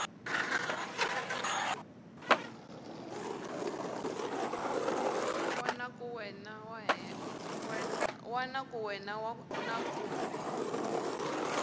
wana ka wena na kumbe